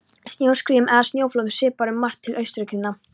Snjóskriðum eða snjóflóðum svipar um margt til aurskriðna.